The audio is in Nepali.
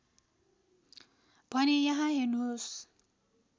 भने यहाँ हेर्नुहोस्